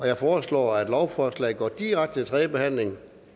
jeg foreslår at lovforslaget går direkte til tredje behandling